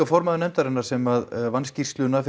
formaður nefndarinnar sem vann skýrsluna